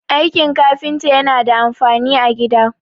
aikin kafinta yana da amfani a gida